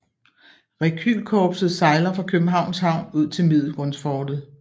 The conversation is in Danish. Rekylkorpset sejler fra Københavns Havn ud til Middelgrundsfortet